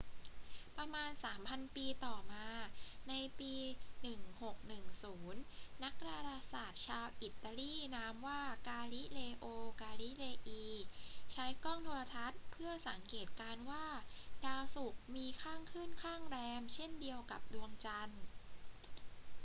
ประมาณสามพันปีต่อมา ในปี 1610 นักดาราศาสตร์ชาวอิตาลีนามว่า กาลิเลโอ กาลิเลอี ใช้กล้องโทรทรรศน์เพื่อสังเกตการณ์ว่าดาวศุกร์มีข้างขึ้นข้างแรมเช่นเดียวกับดวงจันทร์